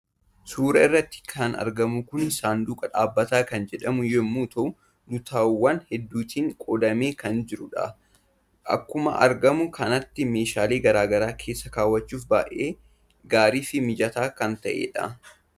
Suuraa irratti kan argamu kun 'Saanduqa Dhaabbataa' kan jedhamu yommuu ta'u, lutaawwan hedduutti qoodamee kan jirudha. Akkuama argamu kanatti meeshaalee gara garaa keessa kaawwachuuf baay'ee gaarii fi mijataa kan ta’edha.